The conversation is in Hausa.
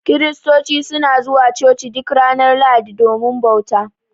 Kiristoci suna zuwa Coci duk ranar Lahadi domin bauta.